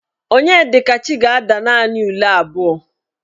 Onyedikachi ga-ada naanị ule abụọ.